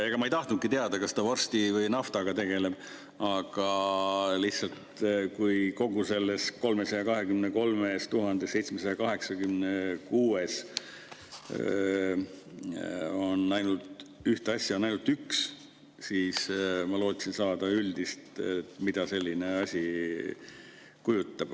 Ega ma ei tahtnudki teada, kas ta vorsti või naftaga tegeleb, aga lihtsalt, kui kogu selles 323 786‑s on ühte asja ainult üks, siis ma lootsin saada üldist, mida selline asi kujutab.